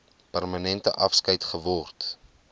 permanente afskeid geword